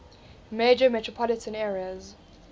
major metropolitan areas